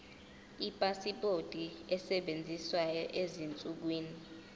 ipasipoti esebenzayo ezinsukwini